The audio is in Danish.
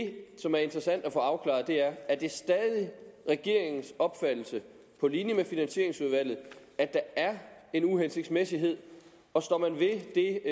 det som er interessant at få afklaret er er det stadig regeringens opfattelse på linje med finansieringsudvalget at der er en uhensigtsmæssighed og står man ved det